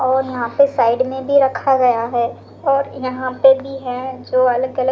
और यहां पे साइड में भी रखा गया है और यहां पे भी है जो अलग-अलग--